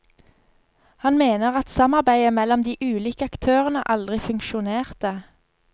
Han mener at samarbeidet mellom de ulike aktørene aldri funksjonerte.